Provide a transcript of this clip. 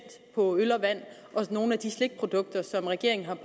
på øl og vand og nogle af de slikprodukter som regeringen har